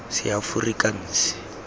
seaforikanse